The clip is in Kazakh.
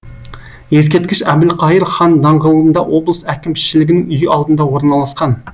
ескерткіш әбілқайыр хан даңғылында облыс әкімшілігінің үйі алдында орналасқан